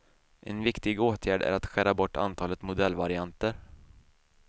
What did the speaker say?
En viktig åtgärd är att skära bort antalet modellvarianter.